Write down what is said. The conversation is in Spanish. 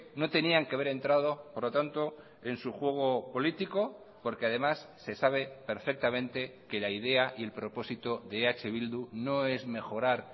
no tenían que haber entrado por lo tanto en su juego político porque además se sabe perfectamente que la idea y el propósito de eh bildu no es mejorar